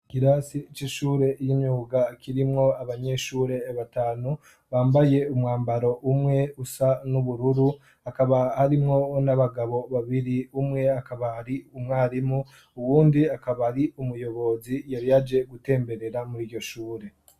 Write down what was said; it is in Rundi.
Ikirasi c'ishure y'imyuga kirimwo abanyeshure batanu bambaye umwambaro umwe usa n'ubururu hakaba harimwo n'abagabo babiri umwe akaba ari umwarimu uwundi akaba ari umuyobozi yari aje gutemberera mur'iryo shure.